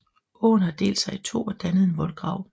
Åen har delt sig i to og dannet en voldgrav